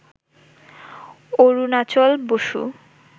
Arunachal Basu,